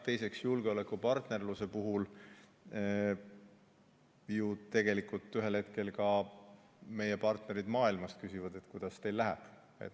Teiseks, julgeolekupartnerluse puhul ju tegelikult ühel hetkel ka meie partnerid küsivad, kuidas meil läheb.